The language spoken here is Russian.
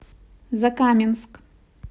закаменск